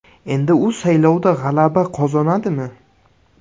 Endi u saylovda g‘alaba qozonadimi?.